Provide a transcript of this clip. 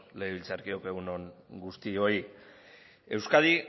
legebiltzarkideok egun on guztioi euskadi